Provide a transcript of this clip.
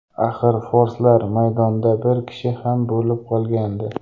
Axir, forslar maydonda bir kishi kam bo‘lib qolgandi.